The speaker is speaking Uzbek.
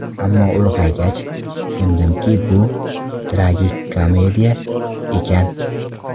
Ammo ulg‘aygach, tushundimki bu tragikomediya ekan.